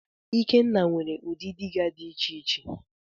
Ikenna nwere udi dịga di iche iche.